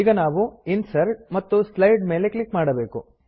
ಈಗ ನಾವು ಇನ್ಸರ್ಟ್ ಮತ್ತು ಸ್ಲೈಡ್ ಮೇಲೆ ಕ್ಲಿಕ್ ಮಾಡಬೇಕು